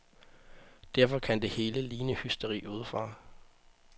Derfor kan det hele ligne hysteri udefra.